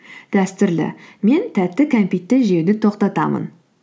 дәстүрлі мен тәтті кәмпитті жеуді тоқтатамын